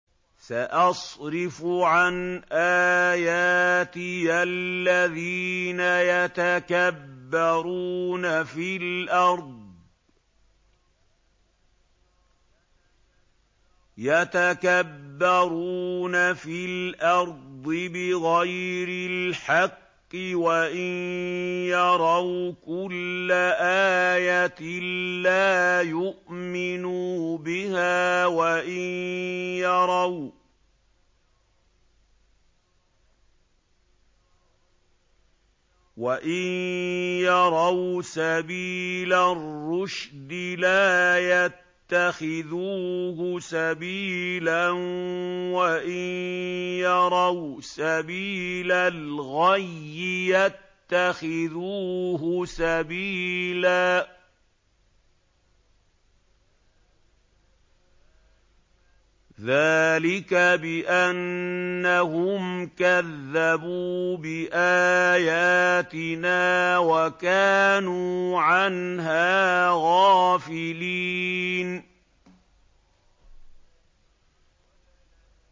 سَأَصْرِفُ عَنْ آيَاتِيَ الَّذِينَ يَتَكَبَّرُونَ فِي الْأَرْضِ بِغَيْرِ الْحَقِّ وَإِن يَرَوْا كُلَّ آيَةٍ لَّا يُؤْمِنُوا بِهَا وَإِن يَرَوْا سَبِيلَ الرُّشْدِ لَا يَتَّخِذُوهُ سَبِيلًا وَإِن يَرَوْا سَبِيلَ الْغَيِّ يَتَّخِذُوهُ سَبِيلًا ۚ ذَٰلِكَ بِأَنَّهُمْ كَذَّبُوا بِآيَاتِنَا وَكَانُوا عَنْهَا غَافِلِينَ